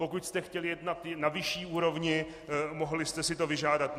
Pokud jste chtěli jet na vyšší úrovni, mohli jste si to vyžádat.